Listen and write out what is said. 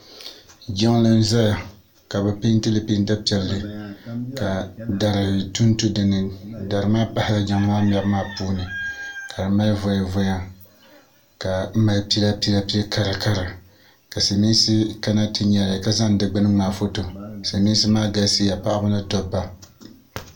Jiŋli n-zaya ka bɛ peenti li peenta piɛlli ka dari tu n-tu dini dari maa pahila Jiŋli maa mɛbu maa puuni ka di mali voya voya ka mali pila pila pil' kara kara ka silimiinsi kana ti nyali ka zani di gbuni n-ŋmaai foto silimiinsi maa galisiya paɣaba ni dabba.